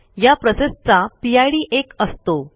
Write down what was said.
ह्या प्रोसेसचा पिड एक असतो